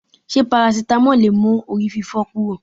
Ṣé parasitamọ́ọ̀ lè mú orí fífọ́ kúrò?